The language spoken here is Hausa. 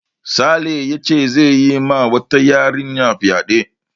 Sale yace zai yi ma wata yarinya fyaɗe